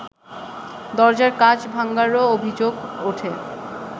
দরজার কাচ ভাঙ্গারও অভিযোগ ওঠে